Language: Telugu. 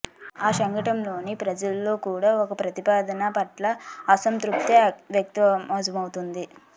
ఆ సెగ్మెంట్లోని ప్రజలలో కూడా ఈ ప్రతిపాదన పట్ల అసంతృప్తి వ్యక్తమవ్ఞతోంది